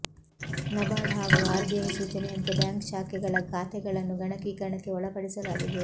ನಬಾರ್ಡ್ ಹಾಗೂ ಆರ್ಬಿಐ ಸೂಚನೆಯಂತೆ ಬ್ಯಾಂಕ್ ಶಾಖೆಗಳ ಖಾತೆಗಳನ್ನು ಗಣಕೀಕರಣಕ್ಕೆ ಒಳಪಡಿಸಲಾಗಿದೆ